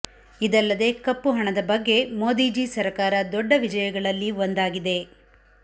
ಇದಲ್ಲದೆ ಕಪ್ಪು ಹಣದ ಬಗ್ಗೆ ಮೋದಿಜೀ ಸರಕಾರ ದೊಡ್ಡ ವಿಜಯಗಳಲ್ಲಿ ಒಂದಾಗಿದೆ